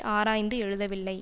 ஆராய்ந்து எழுதவில்லை